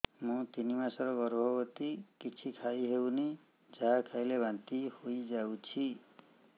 ମୁଁ ତିନି ମାସର ଗର୍ଭବତୀ କିଛି ଖାଇ ହେଉନି ଯାହା ଖାଇଲେ ବାନ୍ତି ହୋଇଯାଉଛି